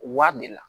Wari de la